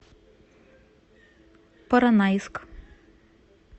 поронайск